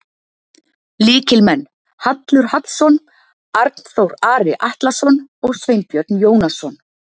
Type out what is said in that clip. Lykilmenn: Hallur Hallsson, Arnþór Ari Atlason og Sveinbjörn Jónasson.